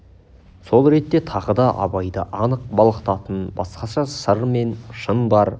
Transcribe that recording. сол ретте тағы да абайды анық балқытатын басқаша сыр мен шын бар